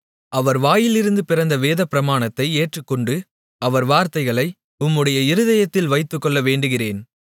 அவர் வாயிலிருந்து பிறந்த வேதப்பிரமாணத்தை ஏற்றுக்கொண்டு அவர் வார்த்தைகளை உம்முடைய இருதயத்தில் வைத்துக்கொள்ள வேண்டுகிறேன்